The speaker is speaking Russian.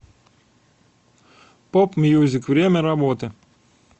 поп мьюзик время работы